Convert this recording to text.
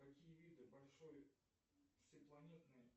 какие виды большой всепланетной